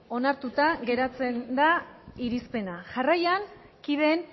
onartuta geratzen da irizpena jarraian kideen